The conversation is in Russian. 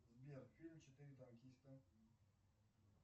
сбер фильм четыре танкиста